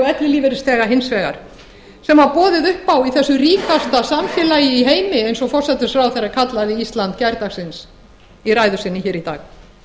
ellilífeyrisþega hins vegar sem var boðið upp á í þessu ríkasta samfélagi í heimi eins og forsætisráðherra kallaði ísland gærdagsins í ræðu sinni í dag